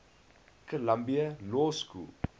columbia law school